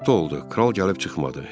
Günorta oldu, kral gəlib çıxmadı.